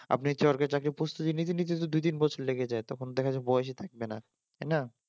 আপনি সরকারি চাকরির প্রস্তুতি নিতে নিতেই তো দুইতিন বছর লেগে যায় তখন দেখা যায় বয়সে থাকবে না তাই না?